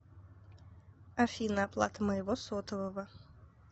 афина оплата моего сотового